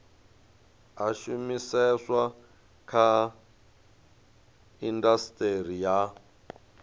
a shumiseswa kha indasiteri ya